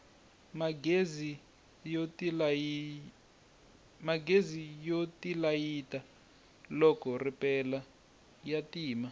magezi yo tilayita loko ripela ya ti tima